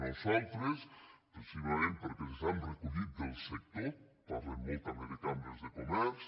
nosaltres precisament perquè les han recollit del sector parlem molt també de cambres de comerç